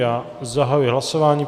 Já zahajuji hlasování.